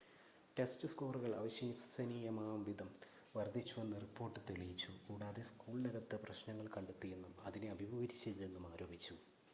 test സ്‌കോറുകൾ അവിശ്വസനീയമാംവിധം വർദ്ധിച്ചുവെന്ന് റിപ്പോർട്ട് തെളിയിച്ചു കൂടാതെ സ്കൂളിനകത്ത് പ്രശ്നങ്ങൾ കണ്ടെത്തിയെന്നും അതിനെ അഭിമുഖീകരിച്ചില്ലെന്നും ആരോപിച്ചു